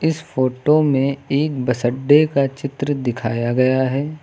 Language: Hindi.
इस फोटो में एक बस अड्डे का चित्र दिखाया गया है।